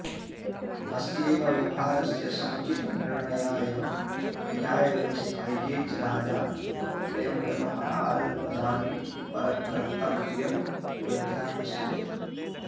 अस्यैव व्यवहारस्य समुचितनिर्णयाय न्यायव्यवस्थायै च राजा स्वयं व्यवहारपदानि परमकर्त्तव्यबुद्ध्या पश्येत्